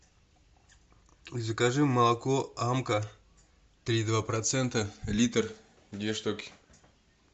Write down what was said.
закажи молоко амка три и два процента литр две штуки